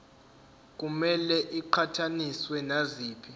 kumele iqhathaniswe naziphi